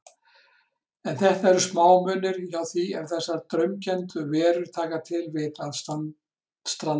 En þetta eru smámunir hjá því ef þessar draumkenndu verur taka til við að stranda.